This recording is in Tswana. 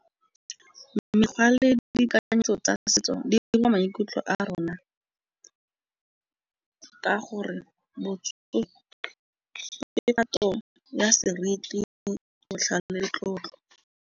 Mekgwa le ditekanyetso tsa setso di dira maikutlo a rona ka gore botsogo ke kgatong ya seriti botlhale le tlotlo.